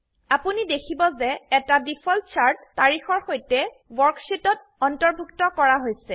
আপোনি দেখিব যে এটা ডিফল্ট চাৰ্ট তাৰিখৰসৈতে ওয়াৰ্কশীটত অন্তৰ্ভুত্ত কৰা হৈছে